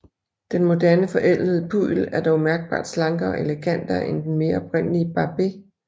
Den moderne forædlede puddel er dog mærkbart slankere og elegantere end den mere oprindelige Barbet